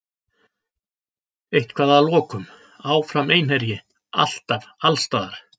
Eitthvað að lokum: Áfram Einherji, alltaf, allsstaðar.